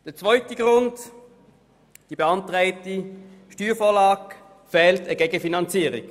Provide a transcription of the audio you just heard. Zum zweiten Grund: Dem beantragten Steuerprogramm fehlt eine Gegenfinanzierung.